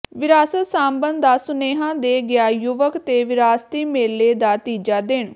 ਵਿਰਾਸਤ ਸਾਂਭਣ ਦਾ ਸੁਨੇਹਾ ਦੇ ਗਿਆ ਯੁਵਕ ਤੇ ਵਿਰਾਸਤੀ ਮੇਲੇ ਦਾ ਤੀਜਾ ਦਿਨ